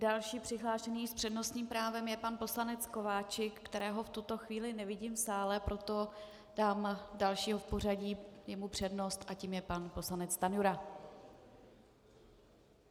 Další přihlášený s přednostním právem je pan poslanec Kováčik, kterého v tuto chvíli nevidím v sále, proto dám dalšího v pořadí jemu přednost a tím je pan poslanec Stanjura.